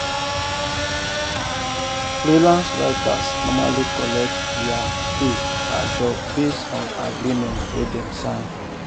freelance writers normally collect their pay per job based on agreement wey dem sign.